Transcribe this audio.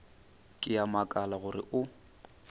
ke a makala gore o